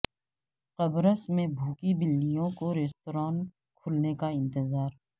قبرص میں بھوکی بلیوں کو ریستوران کھلنے کا انتظار